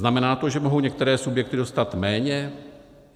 Znamená to, že mohou některé subjekty dostat méně?